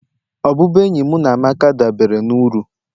Ọbụbụenyi mụ na Amaka dabere na uru